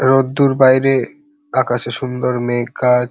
রোদ্দুর বাইরে আকাশে সুন্দর মেঘ আর --